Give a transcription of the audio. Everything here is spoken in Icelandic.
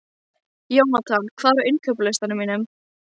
Jónatan, hvað er á innkaupalistanum mínum?